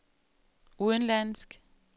udenlandsk